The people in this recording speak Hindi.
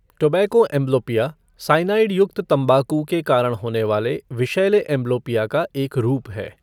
टोबैको एंब्लोपिया, साइनाइड युक्त तंबाकू के कारण होने वाले विषैले एंब्लोपिया का एक रूप है।